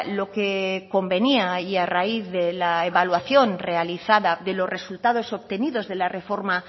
lo que convenía y a raíz de la evaluación realizada de los resultados obtenidos de la reforma